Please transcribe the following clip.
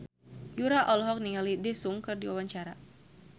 Yura olohok ningali Daesung keur diwawancara